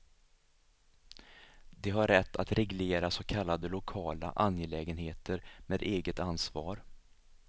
De har rätt att reglera så kallade lokala angelägenheter med eget ansvar.